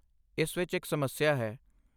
ਇਸ ਵਿੱਚ ਇੱਕ ਸਮੱਸਿਆ ਹੈ।